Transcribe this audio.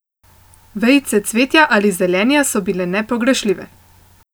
Vejice cvetja ali zelenja so bile nepogrešljive.